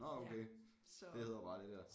Nå okay det hedder bare det der